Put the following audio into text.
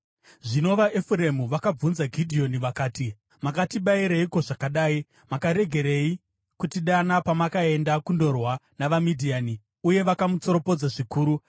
Zvino vaEfuremu vakabvunza Gidheoni vakati, “Makatibatireiko zvakadai? Makaregerei kutidana pamakaenda kundorwa navaMidhiani?” Uye vakamutsoropodza zvikuru.